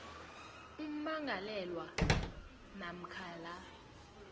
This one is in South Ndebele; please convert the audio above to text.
ummangalelwa namkha la